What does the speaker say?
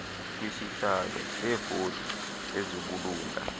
kwisihlo seevoti ezibulunga